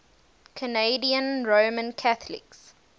canadian roman catholics